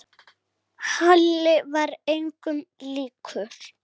Halli var engum líkur.